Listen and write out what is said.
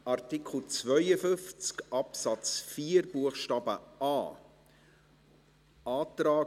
Artikel 52 Absatz 4 Buchstabe a. Antrag